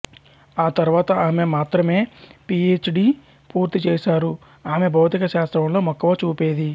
ఆతర్వాత ఆమె మాత్రమే పి హె డి పూర్తిచేశారు ఆమె భౌతిక శాస్త్రంలో మక్కువ చూపేది